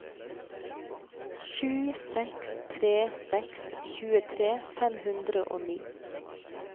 sju seks tre seks tjuetre fem hundre og ni